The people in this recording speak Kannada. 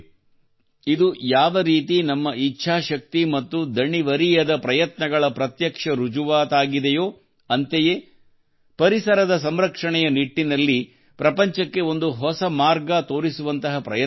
ಇದು ಯಾವರೀತಿ ನಮ್ಮ ಇಚ್ಛಾಶಕ್ತಿ ಮತ್ತು ದಣಿವರಿಯದ ಪ್ರಯತ್ನಗಳ ಪ್ರತ್ಯಕ್ಷ ರುಜುವಾತಾಗಿದೆಯೋ ಅಂತೆಯೇ ಪರಿಸರದ ಸಂರಕ್ಷಣೆಯ ನಿಟ್ಟಿನಲ್ಲಿ ಪ್ರಪಂಚಕ್ಕೆ ಒಂದು ಹೊಸ ಮಾರ್ಗ ತೋರಿಸುವಂತಹ ಪ್ರಯತ್ನವೂ ಆಗಿದೆ